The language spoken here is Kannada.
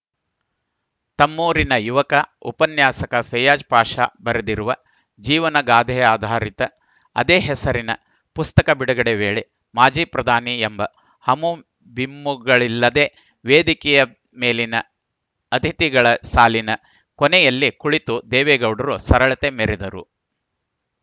ತಮ್ಮೂರಿನ ಯುವಕ ಉಪನ್ಯಾಸಕ ಫೈಯಾಜ್‌ ಪಾಷ ಬರೆದಿರುವ ಜೀವನಗಾಥೆಯಾಧಾರಿತ ಅದೇ ಹೆಸರಿನ ಪುಸ್ತಕ ಬಿಡುಗಡೆ ವೇಳೆ ಮಾಜಿ ಪ್ರಧಾನಿ ಎಂಬ ಹಮುಬಿಮ್ಮುಗಳಿಲ್ಲದೇ ವೇದಿಕೆಯ ಮೇಲಿನ ಅತಿಥಿಗಳ ಸಾಲಿನ ಕೊನೆಯಲ್ಲಿ ಕುಳಿತು ದೇವೇಗೌಡರು ಸರಳತೆ ಮೆರೆದರು